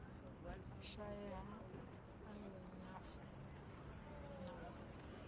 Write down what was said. shaea ha ayoni na fo